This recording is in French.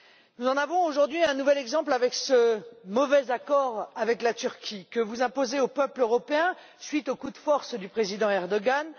Nous en avons, aujourd'hui, un nouvel exemple avec ce mauvais accord avec la Turquie, que vous imposez aux peuples européens à la suite du coup de force du président Erdogan.